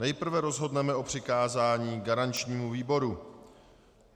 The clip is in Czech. Nejprve rozhodneme o přikázání garančnímu výboru.